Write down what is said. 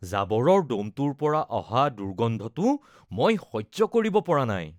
জাবৰৰ দমটোৰ পৰা অহা দুৰ্গন্ধটো মই সহ্য কৰিব পৰা নাই